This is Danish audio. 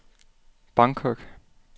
Bangkok